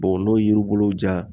n'o ye yiri bolo ja